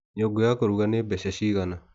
Nyungũ ya kũruga nĩ mbeca cigana?